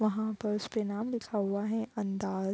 वहाँ पर उसके नाम लिखा हुआ है अंदाज।